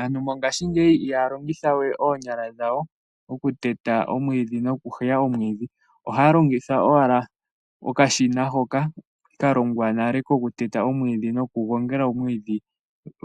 Aantu mongashingeyi ihaya longitha we oonyala dhawo okuteta nokuheya omwiidhi. Ohaya longitha owala okashina hoka ka longwa nale kokuteta nokugongela omwiidhi,